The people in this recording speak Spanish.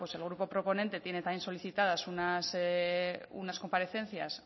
pues el grupo proponente tiene también solicitadas unas comparecencias